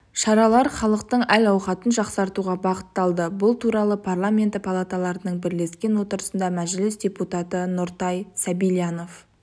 шаралар халықтың әл-ауқатын жақсартуға бағытталды бұл туралы парламенті палаталарының бірлескен отырысында мәжіліс депутаты нұртай сабильянов